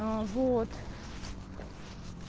а вот